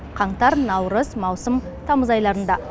қаңтар наурыз маусым тамыз айларында